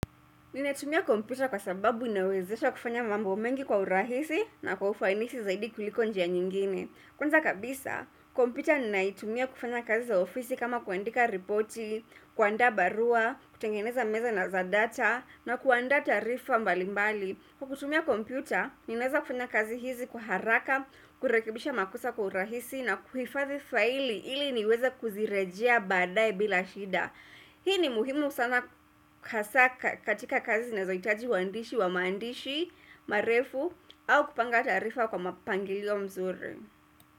Ninatumia kompyuta kwa sababu inawezesha kufanya mambo mengi kwa urahisi na kwa ufanisi zaidi kuliko njia nyingine Kwanza kabisa, kompyuta ninaitumia kufanya kazi za ofisi kama kuandika ripoti, kuandaa barua, kutengeneza meza na za data na kuanda taarifa mbalimbali kwa kutumia kompyuta, ninaweza kufanya kazi hizi kwa haraka, kurekibisha makosa kwa urahisi na kuhifadhi faili ili niweze kuzirejea baadae bila shida Hii ni muhimu sana katika kazi zinazohitaji uandishi wa maandishi, marefu au kupanga taarifa kwa mpangilio mzuri.